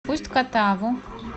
усть катаву